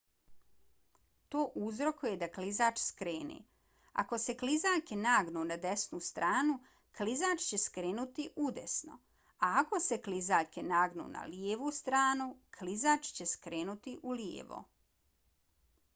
to uzrokuje da klizač skrene. ako se klizaljke nagnu na desnu stranu klizač će skrenuti udesno a ako se klizaljke nagnu na lijevu stranu klizač će skrenuti ulijevo